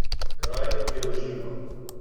Kraj, kjer uživam.